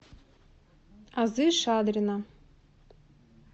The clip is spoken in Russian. азы шадрина